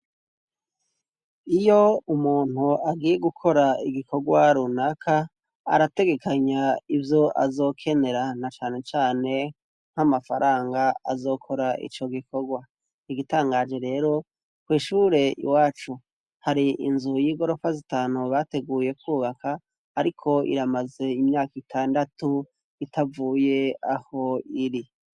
Iyo umuntu agiye gukora igikorwa runaka arategekanya ivyo azokenera na cane cane nk'amafaranga azokora ico gikorwa igitangaje rero, ku ishure iwacu hari inzu y'igorofa zitanu bateguye kubaka ariko iramaze imyaka itandatu itavuye aho iri.